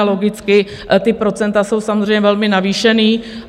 A logicky ta procenta jsou samozřejmě velmi navýšená.